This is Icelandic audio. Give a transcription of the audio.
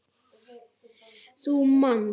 Þú manst.